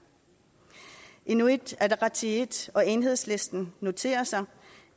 inuit ataqatigiit og enhedslisten noterer sig